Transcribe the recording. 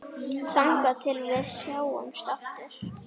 Þangað til við sjáumst aftur.